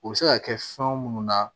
U bɛ se ka kɛ fɛn munnu na